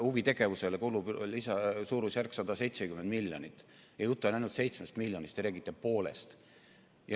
Huvitegevusele kulub suurusjärgus 170 miljonit eurot ja jutt on ainult seitsmest miljonist, aga teie räägite poolest summast.